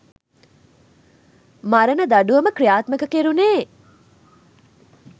මරණ දඬුවම ක්‍රියාත්මක කෙරුණේ.